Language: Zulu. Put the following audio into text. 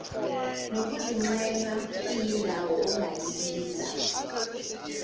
nokuziqhenya iyindawo ongayibiza